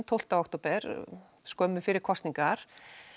tólf október skömmu fyrir kosningar